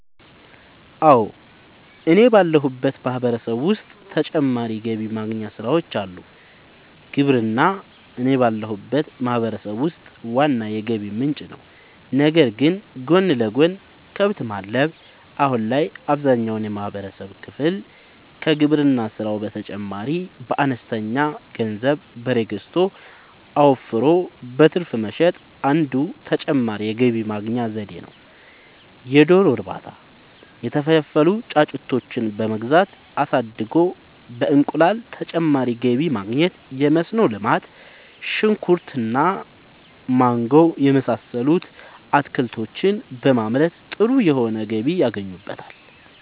አወ እኔ ባለሁበት ማህበረሰብ ዉስጥ ተጨማሪ ገቢ ማግኛ ስራወች አሉ። ግብርና እኔ ባለሁበት ማህበረሰብ ውስጥ ዋና የገቢ ምንጭ ነዉ ነገር ግን ጎን ለጎን :- ከብት ማድለብ :- አሁን ላይ አብዛኛውን የማህበረሰብ ክፍል ከግብርና ስራው በተጨማሪ በአነስተኛ ገንዘብ በሬ ገዝቶ አወፍሮ በትርፍ መሸጥ አንዱ ተጨማሪ የገቢ ማግኛ ነዉ የዶሮ እርባታ:- የተፈለፈሉ ጫጩቶችን በመግዛት አሳድጎ በእንቁላል ተጨማሪ ገቢ ማግኘት የመስኖ ልማት :-ሽንኩርት እና ማንጎ የመሳሰሉት አትክልቶችን በማምረት ጥሩ የሆነ ገቢ ያገኙበታል